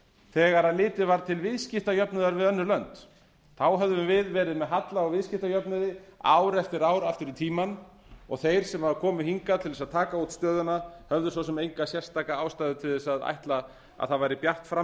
þegar litið var til viðskiptajöfnuðar við önnur lönd þá höfðum við verið með halla á viðskiptajöfnuði ár eftir ár aftur í tímann og þeir sem komu hingað til að taka út stöðuna höfðu svo sem enga sérstaka ástæðu til að ætla að það væri bjart fram